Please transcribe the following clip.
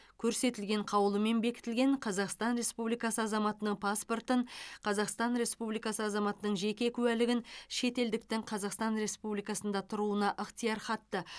көрсетілген қаулымен бекітілген қазақстан республикасы азаматының паспортын қазақстан республикасы азаматының жеке куәлігін шетелдіктің қазақстан республикасында тұруына ықтиярхатты